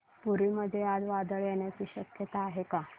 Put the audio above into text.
पुरी मध्ये आज वादळ येण्याची शक्यता आहे का